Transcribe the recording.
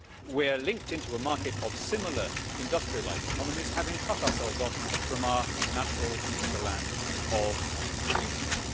We are linked into a market of similar industrialised economies, having cut ourselves off from our natural hinterland of producers.